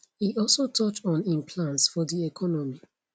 e also touch on im plans for di economy